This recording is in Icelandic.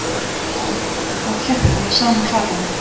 Að hjakka í sama farinu